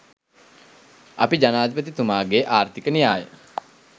අපි ජනාධිපතිතුමාගේ ආර්ථික න්‍යාය